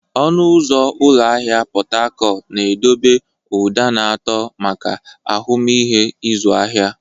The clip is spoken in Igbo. Ọnụ ụzọ ụlọ ahịa Pot Tarcot na-edobe ụda na-atọ maka ahụmịhe ịzụ ahịa.